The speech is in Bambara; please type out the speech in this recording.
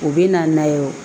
U bɛ na n'a ye o